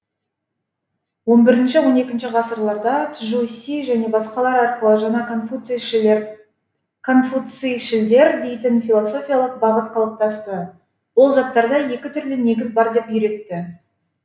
он бірінші он екінші ғасырларда чжу си және басқалар арқылы жаңа конфуцийшілдер дейтін философиялық бағыт қалыптасты ол заттарда екі түрлі негіз бар деп үйретті